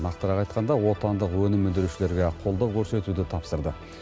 нақтырақ айтқанда отандық өнім өндірушілерге қолдау көрсетуді тапсырды